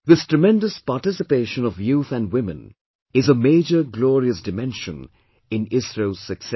This tremendous participation of youth and women is a major glorious dimension in ISRO's success